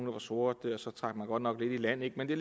var sorte så trak man godt nok lidt i land men det